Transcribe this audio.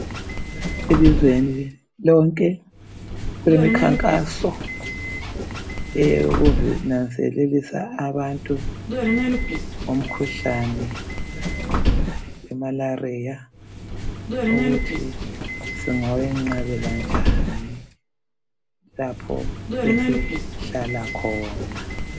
Elizweni lonke kulemikhankaso eyokunanzelelisa abantu ngomkhuhlane wemalaria ukuthi singawenqabela njani lapho esihlala khona